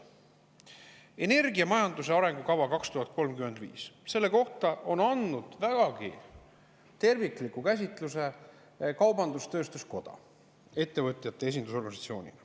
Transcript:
Energiamajanduse arengukava kohta on andnud vägagi tervikliku käsitluse kaubandus-tööstuskoda ettevõtjate esindusorganisatsioonina.